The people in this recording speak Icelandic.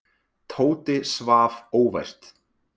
Tóti svaf óvært.